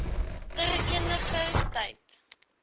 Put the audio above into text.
ter eniger tyd